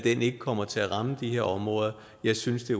ikke kommer til at ramme de her områder jeg synes det